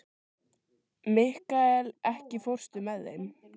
Mikkael, ekki fórstu með þeim?